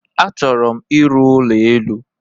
A chọrọ m ịrụ ụlọ élú.